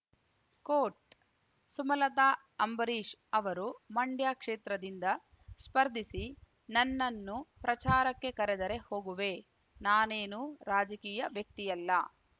coat Sumalatha Ambareesh ಅವರು ಮಂಡ್ಯ ಕ್ಷೇತ್ರದಿಂದ ಸ್ಪರ್ಧಿಸಿ ನನ್ನನ್ನು ಪ್ರಚಾರಕ್ಕೆ ಕರೆದರೆ ಹೋಗುವೆ ನಾನೇನು ರಾಜಕೀಯ ವ್ಯಕ್ತಿಯಲ್ಲ